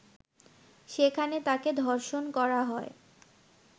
সেখানে তাকে ধর্ষণ করা হয়